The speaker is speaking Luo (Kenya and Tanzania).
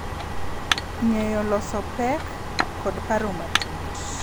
Ng’eyo loso pek, kod paro matut